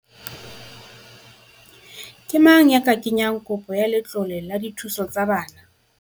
Ke mang ya ka kenyang kopo ya letlole la dithuso tsa bana?